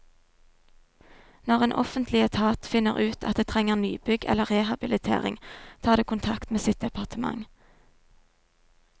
Når en offentlig etat finner ut at det trenger nybygg eller rehabilitering, tar det kontakt med sitt departement.